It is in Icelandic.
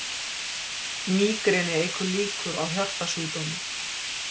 Mígreni eykur líkur á hjartasjúkdómum